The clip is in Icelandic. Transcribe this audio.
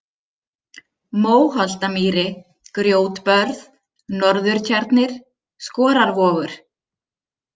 Móholtamýri, Grjótbörð, Norðurtjarnir, Skorarvogur